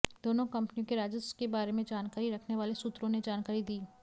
दोनों कंपनियों के राजस्व के बारे में जानकारी रखने वाले सूत्रों ने यह जानकारी दी